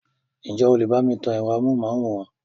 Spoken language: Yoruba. Ǹ jẹ́ o lè bá mi tan ẹ̀rọ amóhùnmáwòrán?